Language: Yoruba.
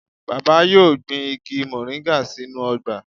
Baba yoo gbin igi moringa sinu ogba.